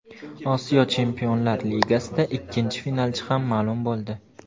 Osiyo Chempionlar Ligasida ikkinchi finalchi ham maʼlum bo‘ldi.